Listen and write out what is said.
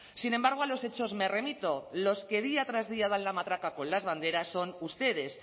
sin embargo a los hechos me remito los que día tras día dan la matraca con las banderas son ustedes